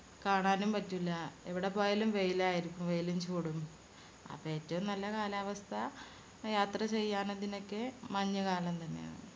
കാണാനും പറ്റില്ല. എവിടെ പോയാലും വെയിലായിരിക്കും. വെയിലും ചൂടും. അപ്പൊ ഏറ്റവും നല്ല കാലാവസ്ഥ യാത്ര ചെയ്യാന് അതിനൊക്കെ മഞ്ഞുകാലം തന്നെയാണ്.